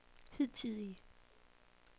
hidtidige